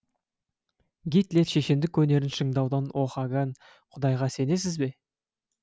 гитлер шешендік өнерін шыңдаудао хаган құдайға сенесіз бе